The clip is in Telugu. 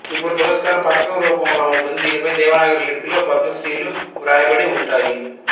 ఈ పురస్కారం పతకం రూపంలో వుంటుంది దీనిపై దేవనాగరి లిపిలో పద్మ శ్రీలు వ్రాయబడి వుంటాయి